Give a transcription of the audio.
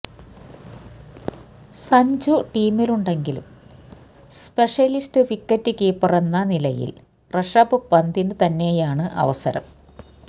സഞ്ജു ടീമിലുണ്ടെങ്കിലും specialist wicket കീപ്പറെന്ന നിലയില് ഋഷഭ് പന്തിന് തന്നെയാണ് അവസരം